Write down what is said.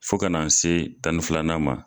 Fo ka na n se tan ni filanan ma.